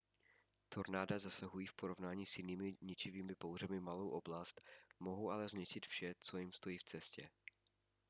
tornáda zasahují v porovnání s jinými ničivými bouřemi malou oblast mohou ale zničit vše co jim stojí v cestě